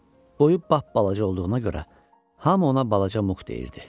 Boyu bapbalaca olduğuna görə hamı ona balaca Muk deyirdi.